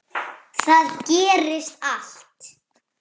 Þar gerist allt.